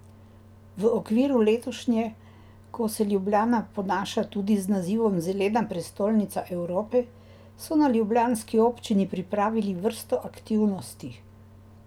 V okviru letošnje, ko se Ljubljana ponaša tudi z nazivom Zelena prestolnica Evrope, so na ljubljanski občini pripravili vrsto aktivnosti.